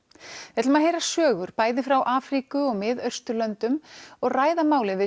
við ætlum að heyra sögur bæði frá Afríku og Mið Austurlöndum og ræða málið við